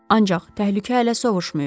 Ancaq təhlükə hələ sovuşmayıb.